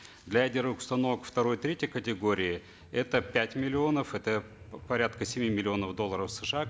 для ядерных установок второй третьей категории это пять миллионов это порядка семи миллионов долларов сша